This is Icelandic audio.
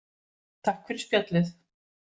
Takk fyrir spjallið.